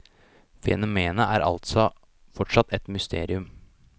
Fenomenet er altså fortsatt et mysterium.